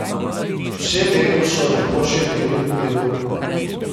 Vse leto so lepo živeli v miru.